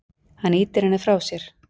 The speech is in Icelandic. Hann ýtir henni frá sér.